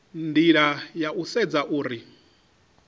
nila ya u sedza uri